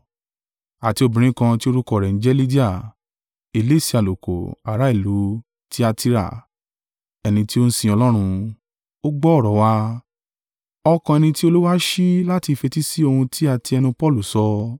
Àti obìnrin kan tí orúkọ rẹ̀ ń jẹ́ Lidia, elése àlùkò, ará ìlú Tiatira, ẹni tí ó sin Ọlọ́run, ó gbọ́ ọ̀rọ̀ wa, ọkàn ẹni tí Olúwa ṣí láti fetísí ohun tí a tí ẹnu Paulu sọ.